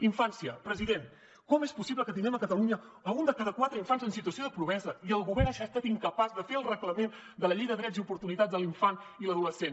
infància president com és possible que tinguem a catalunya un de cada quatre infants en situació de pobresa i el govern hagi estat incapaç de fer el reglament de la llei de drets i oportunitats de l’infant i l’adolescent